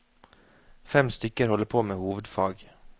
Fem stykker holder på med hovedfag.